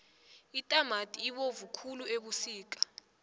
itamati ibovu khulu ebusika